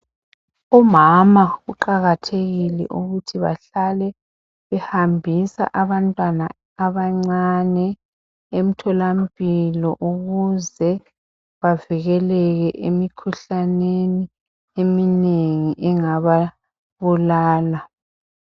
umama uqakathekile ukuthi ahlale ehambisa abantwana abancane emtholampilo ukuze bavikeleke emikhuhlaneni eminengi engababulala